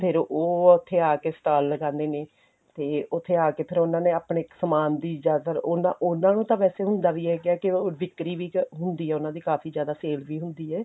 ਫਿਰ ਉਹ ਉੱਥੇ ਆ ਕੇ stall ਲਗਾਂਦੇ ਨੇ ਤੇ ਉੱਥੇ ਆ ਕੇ ਫਿਰ ਉਹਨਾ ਨੇ ਆਪਣੇ ਇੱਕ ਸਮਾਨ ਦੀ ਜ਼ਿਆਦਾਤਰ ਉਹਨਾ ਉਹਨਾ ਨੂੰ ਤਾਂ ਵੈਸੇ ਹੁੰਦਾ ਵੀ ਕੀ ਕੀ ਉਹ ਵਿੱਕਰੀ ਵਿੱਚ ਹੁੰਦੀ ਆ ਕਾਫੀ ਕਾਫੀ ਜਿਆਦਾ sale ਵੀ ਹੁੰਦੀ ਏ